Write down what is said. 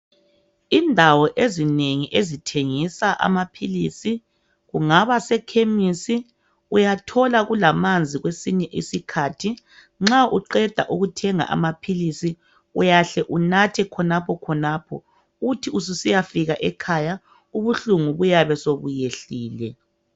Indawo ezinengi ezithengisa amaphilisi. Kungaba sekhemesi, uyathola kulamanzi kwesinye isikhathi. Nxa uqeda ukuthenga amaphilisi uyahle unathe khonapho khonapho, uthi ususiyafika ekhaya, ubuhlungu buyabe sobuyehlile.